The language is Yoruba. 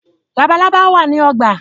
Labalábá wá ní ogbà.